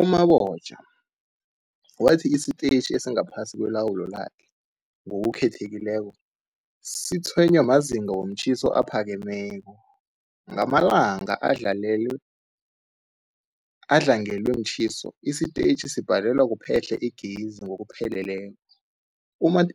U-Mabotja wathi isitetjhi esingaphasi kwelawulo lakhe, ngokukhethekileko, sitshwenywa mazinga womtjhiso aphakemeko. Ngamalanga adlangelwe mtjhiso, isitetjhi sibhalelwa kuphehla igezi ngokupheleleko.